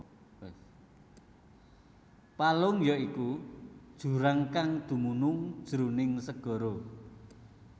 Palung ya iku jurang kang dumunung jroning segara